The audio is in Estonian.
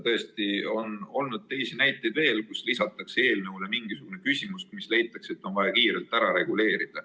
Tõesti, on olnud veel teisi juhtumeid, mille korral on eelnõule lisatud mingisugune küsimus, mille puhul on leitud, et see on vaja kiirelt ära reguleerida.